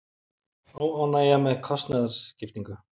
Óánægja með kostnaðarskiptingu